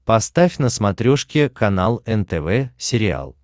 поставь на смотрешке канал нтв сериал